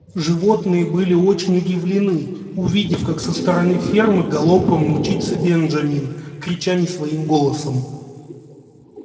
животные были очень удивлены увидев как со стороны фермы галопом мчится бенджамин крича не своим голосом